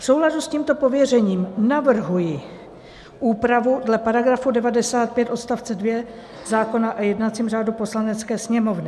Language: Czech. V souladu s tímto pověřením navrhuji úpravu dle § 95 odst. 2 zákona o jednacím řádu Poslanecké sněmovny.